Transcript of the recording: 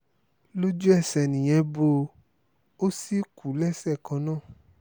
lójú-ẹsẹ̀ nìyẹn bó o ò sì kú lẹ́sẹ̀ kan náà